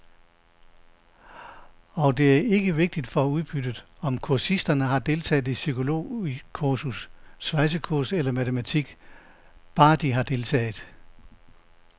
Og det er ikke vigtigt for udbyttet, om kursisterne har deltaget i psykologikursus, svejsekursus eller matematik, bare de har deltaget.